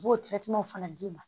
U b'o fana d'i ma